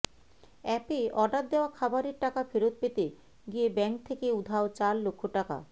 অ্যাপে অর্ডার দেওয়া খাবারের টাকা ফেরত পেতে গিয়ে ব্যাঙ্ক থেকে উধাও চার লক্ষ টাকা